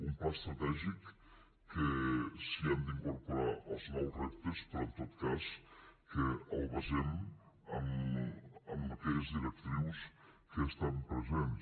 un pla estratègic que s’hi han d’incorporar els nous reptes però en tot cas que el basem en aquelles directrius que estan presents